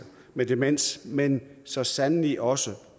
med demens men så sandelig også